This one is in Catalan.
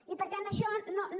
i per tant això no no